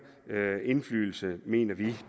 indflydelse mener vi